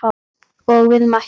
Og við mættum.